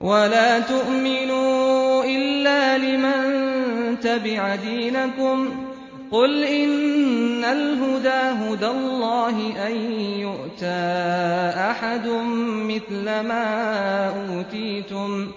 وَلَا تُؤْمِنُوا إِلَّا لِمَن تَبِعَ دِينَكُمْ قُلْ إِنَّ الْهُدَىٰ هُدَى اللَّهِ أَن يُؤْتَىٰ أَحَدٌ مِّثْلَ مَا أُوتِيتُمْ